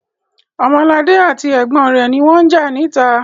Ọmọladé àti ẹ̀gbọ́n rẹ̀ ni wọ́n ń jà níta.